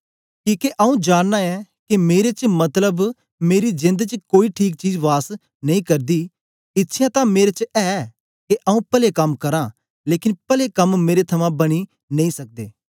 किके आंऊँ जाननां ऐं के मेरे च मतलब मेरी जेंद च कोई ठीक चीज वास नेई करदी इच्छया तां मेरे च ऐ के आंऊँ पले कम करां लेकन पले कम मेरे थमां बनी नेई सकदे